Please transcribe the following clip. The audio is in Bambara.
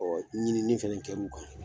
Ɔ ɲinini fana kɛr'u kan